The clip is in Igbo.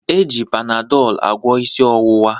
E ji Panadọl agwọ isi ọwụwa.